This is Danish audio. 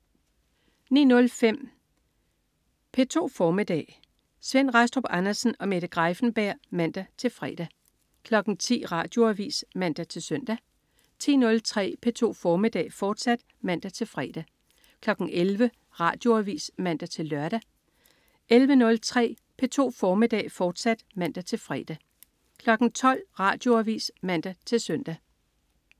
09.05 P2 formiddag. Svend Rastrup Andersen og Mette Greiffenberg (man-fre) 10.00 Radioavis (man-søn) 10.03 P2 formiddag, fortsat (man-fre) 11.00 Radioavis (man-lør) 11.03 P2 formiddag, fortsat (man-fre) 12.00 Radioavis (man-søn)